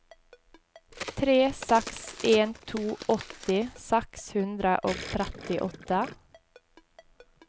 tre seks en to åtti seks hundre og trettiåtte